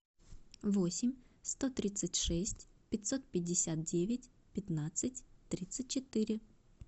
восемь сто тридцать шесть пятьсот пятьдесят девять пятнадцать тридцать четыре